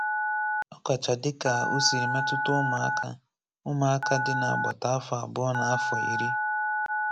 Ọ kàchá dị́ka ó sịrì mètụ̀tà ụmụ́aka ụmụ́aka dị n’agbàtà áfọ̀ abụ̀ọ̀ na áfọ̀ ìrí.